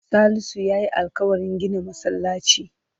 Salisu ya yi alƙawarin gina masallaci.